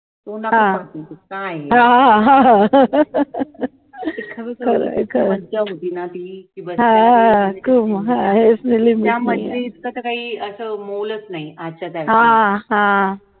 तोंड आपलंच काये मज्जा होती ना ती त्या मज्जे इतकं तर काही अस मोलच नाही आजच्या तारखेला